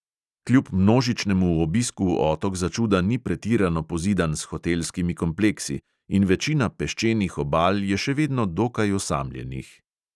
Kljub množičnemu obisku otok začuda ni pretirano pozidan s hotelskimi kompleksi in večina peščenih obal je še vedno dokaj osamljenih.